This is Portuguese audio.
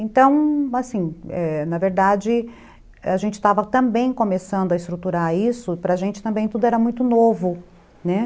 Então, assim, na verdade, a gente estava também começando a estruturar isso, para a gente também tudo era muito novo, né?